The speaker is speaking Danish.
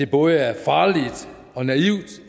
både er farligt og naivt og